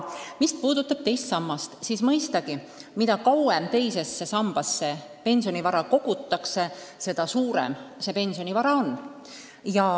Mis puudutab teist sammast, siis mõistagi, mida kauem teise sambasse pensionivara kogutakse, seda suurem see pensionivara on.